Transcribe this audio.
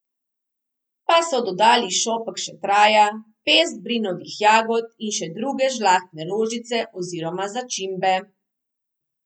Pa so dodali šopek šetraja, pest brinovih jagod in še druge žlahtne rožice oziroma začimbe.